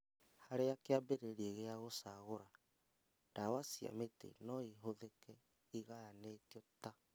Harĩa kĩambĩrĩria gĩa gũcagũra, ndawa cia mĩtĩ noĩhũthĩke igayanĩtio ta